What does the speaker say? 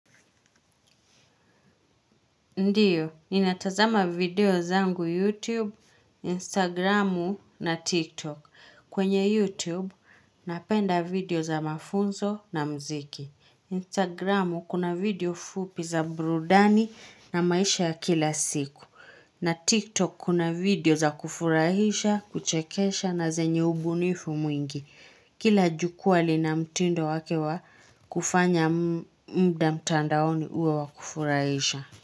Ndiyo, ni natazama video zangu YouTube, Instagramu na TikTok. Kwenye YouTube, napenda video za mafunzo na mziki. Instagramu kuna video fupi za burudani na maisha ya kila siku. Na TikTok kuna video za kufurahisha, kuchekesha na zenye ubunifu mwingi. Kila jukwa lina mtindo wake wa, kufanya mda mtandaoni uwe wa kufurahisha.